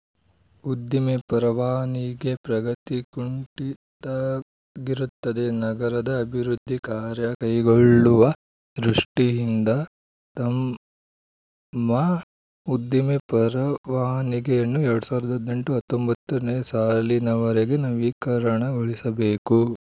ಉದ್ದಿಮೆ ಪರವಾನಿಗೆ ಪ್ರಗತಿ ಕುಂಠಿತಾಗಿರುತ್ತದೆ ನಗರದ ಅಭಿವೃದ್ಧಿ ಕಾರ್ಯ ಕೈಗೊಳ್ಳುವ ದೃಷ್ಟಿಇಂದ ತಮ್ಮ ಉದ್ದಿಮೆ ಪರವಾನಿಗೆಯನ್ನು ಎರಡ್ ಸಾವಿರದ ಹದಿನೆಂಟು ಹತ್ತೊಂಬತ್ತನೇ ಸಾಲಿನವರೆಗೆ ನವೀಕರಣಗೊಳಿಸಬೇಕು